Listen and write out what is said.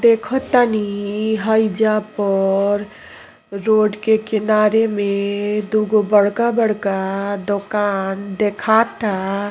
देखतनी हयेजा पर रोड के किनारे में दोगो बड़का बड़का दोकान देखाता।